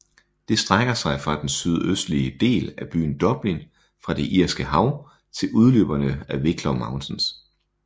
Det strækker sig fra den sydøstlige del af byen Dublin fra det Irske Hav til udløberne af Wicklow Mountains